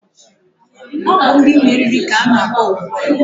Ọ bụ ndị meriri ka ọ na-akpọ ugbua